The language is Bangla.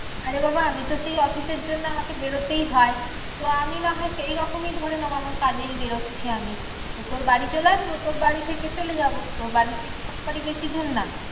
আরে বাবা আমিতো সেই অফিসের জন্য আমাকে বেরোতেই হয়। তো আমি নাহয় সেইরকমই ধরে নেবো আমার কাজেই বেরোচ্ছি আমি। তো তোর বাড়ি চলে আসবো। তোর বাড়ি থেকে চলে যাবো। তোর বাড়ির থেকে আমার বাড়ি তো বেশি দূর না।